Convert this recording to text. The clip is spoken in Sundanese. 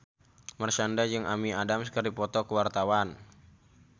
Marshanda jeung Amy Adams keur dipoto ku wartawan